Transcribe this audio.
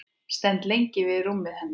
Stend lengi við rúmið hennar.